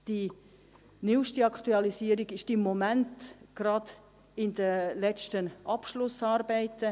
Die neuste Aktualisierung ist im Moment gerade in den letzten Abschlussarbeiten;